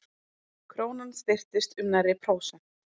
Krónan styrktist um nærri prósent